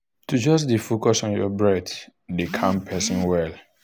to just dey focus on your breath dey calm person well.